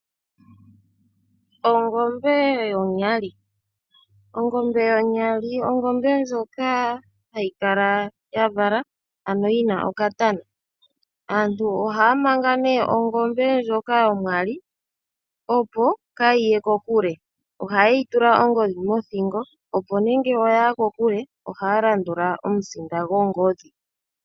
Ongombe yonyali. Ongombe yonyali ongombe ndjoka hayi kala ya vala, ano yi na okatana. Aantu ohaa manga nduno ongombe ndjoka yonyali, opo kaayi ye kokule. Ohaye yi tula ongodhi mothingo, opo ngele oya yi kokule ohaya landula omusinda gongodhi.